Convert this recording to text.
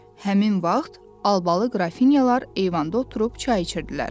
Həmin vaxt albalı qrafinyalar eyvanda oturub çay içirdilər.